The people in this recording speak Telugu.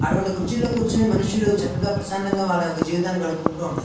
అటువంటి కుర్చీలో కూర్చొని మనుషులు చక్కగా ప్రశాంతనంగా వల్ల యొక్క జీవితాన్ని గడుపుకుంటూ ఉంటారు.